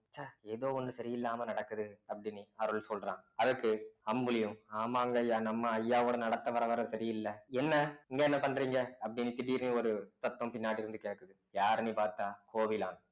ச்ச ஏதோ ஒண்ணு சரியில்லாம நடக்குது அருள் சொல்றான் அதற்கு அம்புலியும் ஆமாங்கய்யா நம்ம ஐயாவோட நடத்த வர வர சரியில்லை என்ன இங்க என்ன பண்றீங்க அப்படின்னு திடீர்ன்னு ஒரு சத்தம் பின்னாடி இருந்து கேட்குது யாருன்னு பார்த்தா கோவிலான்